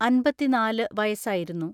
അൻപത്തിനാല് വയസ്സായിരുന്നു.